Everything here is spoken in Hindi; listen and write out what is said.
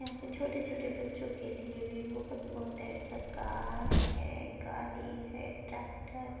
यहाँ पे छोटे-छोटे बच्चों के लिए भी बहुत-बहुत टाइप का कार है गाड़ी है ट्रैक्टर